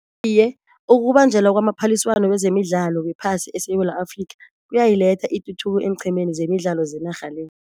Iye ukubanjelwa kwamaphaliswano wezemidlalo wephasi eSewula Afrika kuyayiletha ituthuko eenqhemeni zemidlalo zenarha le.